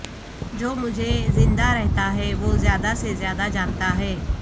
جو مجھے زندہ رہتا ہے وہ زیادہ سے زیادہ جانتا ہے